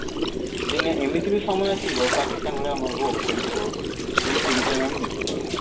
ଦିନେ ଏମିତି ବି ସମୟ ଆସିବ ପାକିସ୍ତାନ ଭଳିଆ ଆମକୁ ଅବସ୍ଥା ବି ହବାକୁ ପଡିବ କିନ୍ତୁ ସେଇ ବିଷୟରେ ଆମେ ଦେଖିପାରୁନେ